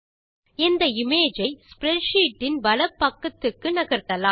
இந்த இமேஜ் ஐ ஸ்ப்ரெட்ஷீட் இன் வலப்பக்கத்துக்கு நகர்த்தலாம்